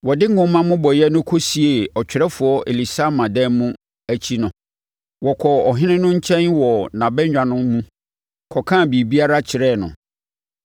Wɔde nwoma mmobɔeɛ no kɔsiee ɔtwerɛfoɔ Elisama dan mu akyi no, wɔkɔɔ ɔhene no nkyɛn wɔ nʼabannwa no mu kɔkaa biribiara kyerɛɛ no.